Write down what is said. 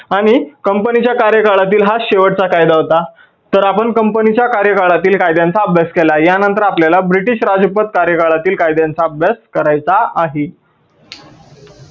आणि company च्या कार्यकाळातील हा शेवटचा कायदा होता. तर आपण company च्या कार्यकाळातील कायद्यांचा अभ्यास केला. या नंतर आपल्याला ब्रिटीश राजपद कार्यकाळातील कायद्यांचा अभ्यास करायचा आहे.